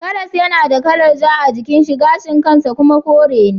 Karas yana da kalar ja a jikin shi gashin kan shi kuma kore ne.